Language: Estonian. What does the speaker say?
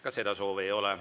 Ka seda soovi ei ole.